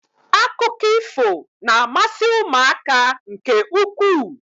Akụkọ ifo na-amasị ụmụaka nke ukwuu